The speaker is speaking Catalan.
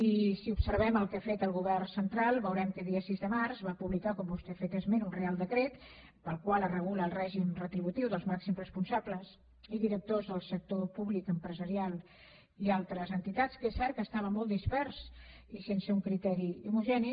i si observem el que ha fet el govern central veurem que a dia sis de març va publicar com vostè n’ha fet esment un reial decret pel qual es regula el règim retributiu dels màxims responsables i directors del sector públic empresarial i altres entitats que és cert que estava molt dispers i sense un criteri homogeni